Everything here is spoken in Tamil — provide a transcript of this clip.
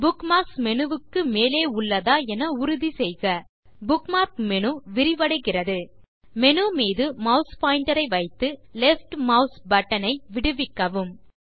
புக்மார்க்ஸ் மேனு க்கு மேலே உள்ளதா என உறுதி செய்க புக்மார்க் மேனு விரிவடைகிறது மேனு மீது மாஸ் பாயிண்டர் ஐ வைத்து லெஃப்ட் மாஸ் பட்டன் ஐ விடுவிக்கவும்